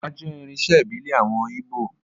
Ọjà jẹ́ irinṣẹ́ ìbílẹ̀ àwọn Ígbò